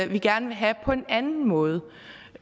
vi gerne vil have på en anden måde